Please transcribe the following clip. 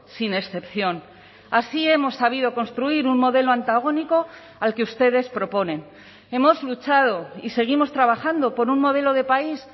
sin excepción así hemos sabido construir un modelo antagónico al que ustedes proponen hemos luchado y seguimos trabajando por un modelo de país